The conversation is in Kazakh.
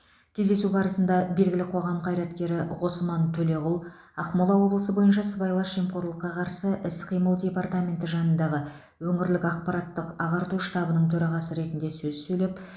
кездесу барысында белгілі қоғам қайраткері ғосман төлеғұл ақмола облысы бойынша сыбайлас жемқорлыққа қарсы іс қимыл департаменті жанындағы өңірлік ақпараттық ағарту штабының төрағасы ретінде сөз сөйлеп